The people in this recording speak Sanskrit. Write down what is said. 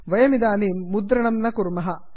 वयमिदानीं मुद्रणं न कुर्मः